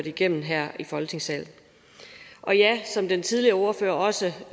igennem her i folketingssalen og ja som en tidligere ordfører også